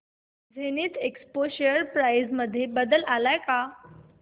Zenith Expo share price मध्ये बदल आलाय का